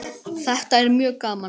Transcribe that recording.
Þetta er mjög gaman.